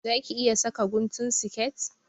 Za ki iya saka guntun siket?